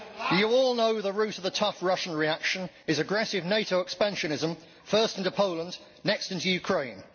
We all know the root of the tough Russian reaction is aggressive NATO expansionism, first into Poland, next into Ukraine.